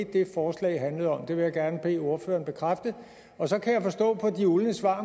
det forslag handlede om og det vil jeg gerne bede ordføreren bekræfte og så kan jeg forstå på de uldne svar